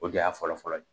O de y'a fɔlɔfɔlɔ ye